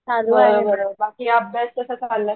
आम्ही आहें बरं बाकी अभ्यास कसा चाललाय?